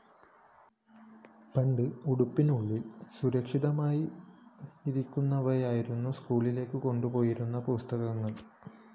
പണ്ട് ഉടുപ്പിനുള്ളില്‍ സുരക്ഷിതമായിരിക്കുന്നവയായിരുന്നു സ്‌കൂളിലേക്ക് കൊണ്ടുപോയിരുന്ന പുസ്തകങ്ങള്‍